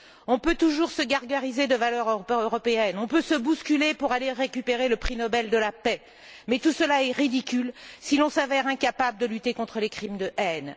On peut toujours se gargariser de valeurs européennes, on peut se bousculer pour aller récupérer le prix Nobel de la paix, mais tout cela est ridicule si l'on s'avère incapable de lutter contre les crimes de haine.